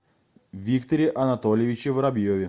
викторе анатольевиче воробьеве